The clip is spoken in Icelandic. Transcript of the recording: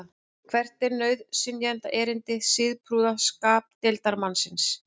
hvert er nauðsynjaerindi siðprúða skapdeildarmannsins